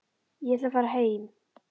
Ég ætla að fara heim.